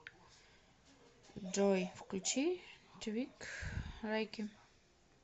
джой включи твик лайки